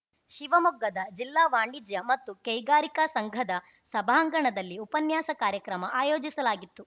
ಶಿವಮೊಗ್ಗದ ಜಿಲ್ಲಾ ವಾಣಿಜ್ಯ ಮತ್ತು ಕೈಗಾರಿಕಾ ಸಂಘದ ಸಭಾಂಗಣದಲ್ಲಿ ಉಪನ್ಯಾಸ ಕಾರ್ಯಕ್ರಮ ಆಯೋಜಿಸಲಾಗಿತ್ತು